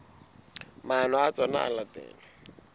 maano a tsona ho latela